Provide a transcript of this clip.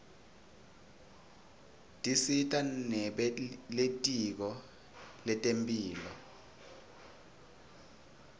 tisita nebelitko lentemphilo